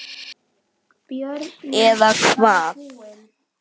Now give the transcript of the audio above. Eða hvað.?